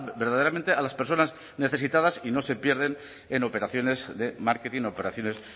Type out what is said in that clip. verdaderamente a las personas necesitadas y no se pierdan en operaciones de marketing operaciones